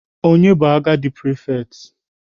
Ọnye na-bụ agadi prefect?